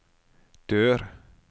dør